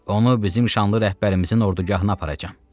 Onu bizim şanlı rəhbərimizin ordugahına aparacam.